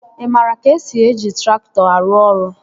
Ị maara ka esi eji traktọ arụ ọrụ?